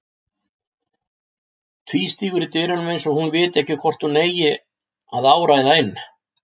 Tvístígur í dyrunum eins og hún viti ekki hvort hún eigi að áræða inn.